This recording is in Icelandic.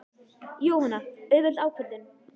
Jóhanna: Auðveld ákvörðun?